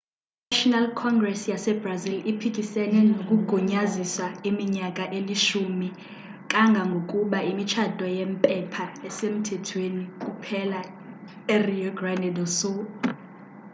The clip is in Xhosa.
i-national congres yasebrazil iphikisene nokugunyaziswa iminyaka eli-10 kangangokuba imitshato yempepha isemthethweni kuphela erio grande do sul